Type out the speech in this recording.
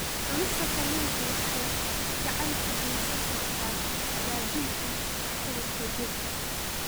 Cunista kalluunka waxay gacan ka geysan kartaa hagaajinta waxqabadka jirka.